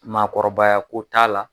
Maakɔrɔbaya ko t'a la.